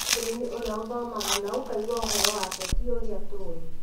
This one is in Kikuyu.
Caroline ũrĩa ũthomaga na ũkaigua ũhoro wake tĩ ũrĩa tũĩ.